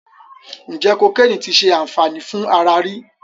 Ǹjẹ́ kokéènì ti ṣe àǹfàní fún ara rí?